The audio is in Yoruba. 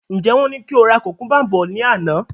Njẹ wọn ní ki o ra kukumba bọ̀ ní àná?